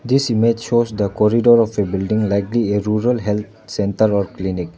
this image shows the corridor of a building likely a rural health centre or clinic.